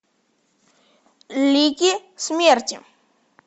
лики смерти